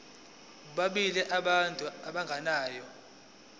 bobabili abantu abagananayo